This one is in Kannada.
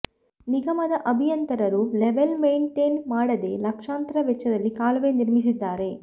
ನಿಗಮದ ಅಭಿಯಂತರರು ಲೇವಲ್ ಮೆಂಟೇನ್ ಮಾಡದೇ ಲಕ್ಷಾಂತರ ವೆಚ್ಚದಲ್ಲಿ ಕಾಲುವೆ ನಿರ್ಮಿಸಿದ್ದಾರೆ